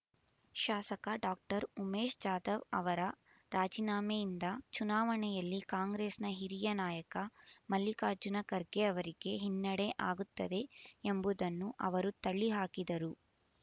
ಶಾಸಕ ಡಾಕ್ಟರ್ ಉಮೇಶ್ ಜಾಧವ್ ಅವರ ರಾಜೀನಾಮೆಯಿಂದ ಚುನಾವಣೆಯಲ್ಲಿ ಕಾಂಗ್ರೆಸ್‌ನ ಹಿರಿಯ ನಾಯಕ ಮಲ್ಲಿಕಾರ್ಜುನ ಖರ್ಗೆಯವರಿಗೆ ಹಿನ್ನಡೆ ಆಗುತ್ತದೆ ಎಂಬುದನ್ನು ಅವರು ತಳ್ಳಿ ಹಾಕಿದರು